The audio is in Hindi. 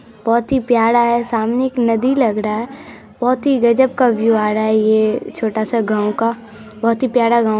बहुत ही प्यारा हैं सामने एक नदी लग रहा है बहुत ही गजब का व्यू आ रहा है ये छोटा सा गांव का बाहत ही प्यारा गांव--